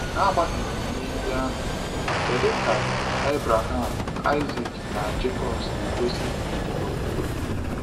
N’agbanyeghị ihe ndị ahụ, kedu ka Abraham, Isaac, na Jekọb si gosi ndidi na okwukwe?